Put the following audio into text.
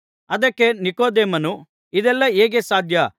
ಅದಕ್ಕೆ ನಿಕೊದೇಮನು ಇದೆಲ್ಲಾ ಹೇಗೆ ಸಾಧ್ಯ ಎಂದಾಗ